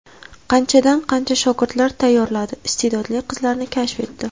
Qanchadan qancha shogirdlar tayyorladi, iste’dodli qizlarni kashf etdi.